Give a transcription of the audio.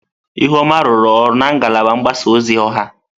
Ihuoma rụrụ ọrụ na ngalaba mgbasa ozi ọha.